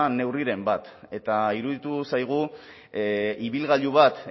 neurriren bat eta iruditu zaigu ibilgailu bat